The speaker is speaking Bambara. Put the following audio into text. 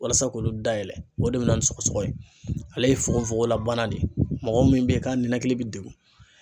Walasa k'olu dayɛlɛ ,o de be na ni sɔgɔsɔgɔ ye .Ale ye fogofogola bana de ye mɔgɔ min be ka ninakili be dekun.